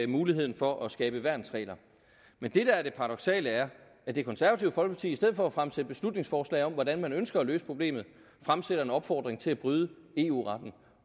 muligheden for at skabe værnsregler men det der er det paradoksale er at det konservative folkeparti i stedet for at fremsætte beslutningsforslag om hvordan man ønsker at løse problemet fremsætter en opfordring til at bryde eu retten